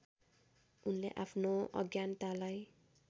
उनले आफ्नो अज्ञानतालाई